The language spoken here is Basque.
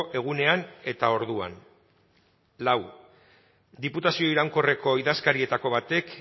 egunean eta orduan lau diputazio iraunkorreko idazkarietako batek